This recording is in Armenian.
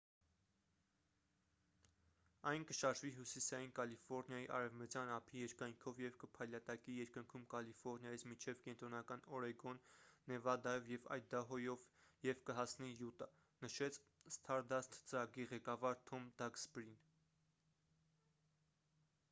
«այն կշարժվի հյուսիսային կալիֆորնիայի արևմտյան ափի երկայնքով և կփայլատակի երկնքում կալիֆորնիայից մինչև կենտրոնական օրեգոն նեվադայով և այդահոյով և կհասնի յուտա»,- նշեց սթարդասթ ծրագրի ղեկավար թոմ դաքսբրին: